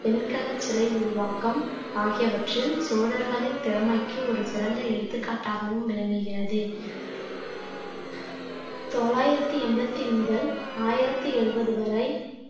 வெண்கலச் சிலை உருவாக்கம் ஆகியவற்றில் சோழர்களின் திறமைக்கு ஒரு சிறந்த எடுத்துக்காட்டாகவும் விளங்குகிறது தொள்ளாயிரத்தி எண்பத்தி முதல் ஆயிரத்தி எழுபது வரை